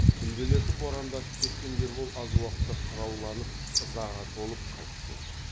түнделетіп борандатып кеткен ербол аз уақытта қырауланып ызаға толып қайтып келді